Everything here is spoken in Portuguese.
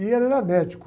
E ele era médico.